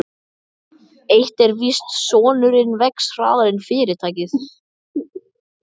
Eitt er víst: Sonurinn vex hraðar en fyrirtækið.